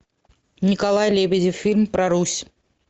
николай лебедев фильм про русь